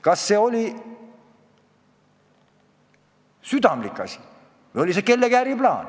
Kas see oli kellegi äriplaan?